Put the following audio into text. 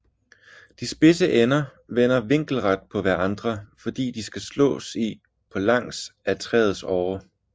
De spidse ender vender vinkelret på hverandre fordi de skal slås i på langs ad træets årer